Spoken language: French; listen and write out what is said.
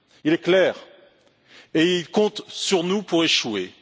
Il est clair et il compte sur nous pour échouer.